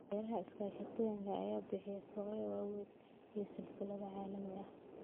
Beeraha iskaashatooyinka ayaa bixiya suuqyo waaweyn iyo silsilado caalami ah.